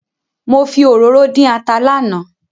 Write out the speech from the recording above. Mo fi òróró dín ata lánàá